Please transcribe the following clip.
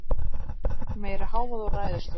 Heyrt meiri hávaða úr ræðustól